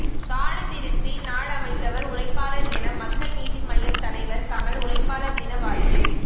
காடுதிருத்தி நாடமைத்தவர் உழைப்பாளர் என மக்கள் நீதி மய்யம் தலைவர் கமல் உழைப்பாளர் தின வாழ்த்து